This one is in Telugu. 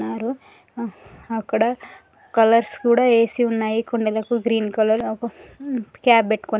ఉన్నారు ఆ అక్కడ కలర్స్ కూడా ఏసీ ఉన్నాయి. కుండలకు గ్రీన్ కలర్ . క్యాప్ పెట్టుకొని--